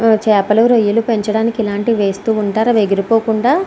చేపలు రొయ్యలు పెంచడానికి ఇలాంటి వేస్తూ ఉంటారు. అవి ఎగిరి పోకుండా --